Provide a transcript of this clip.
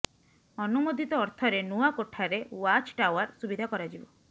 ଅନୁମୋଦିତ ଅର୍ଥରେ ନୂଆ କୋଠାରେ ୱାଚ୍ ଟାୱାର ସୁବିଧା କରାଯିବ